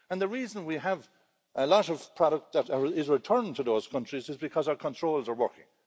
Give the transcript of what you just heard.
And the reason we have a lot of products that are returned to those countries is because our controls are working.